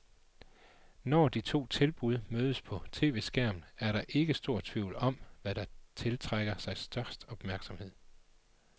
Når de to tilbud mødes på tv-skærmen er der ikke stor tvivl om, hvad der tiltrækker sig størst opmærksomhed.